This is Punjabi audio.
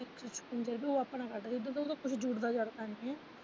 ਇੱਕ ਤਾਂ ਫੰਡ ਓਹ ਆਪਣਾ ਕੱਟਦੇ ਜਦੋਂ ਕੋਈ ਜਰੂਰਤਾਂ ਜਰਾਰਤਾਂ ਆਉਂਦੀਆ।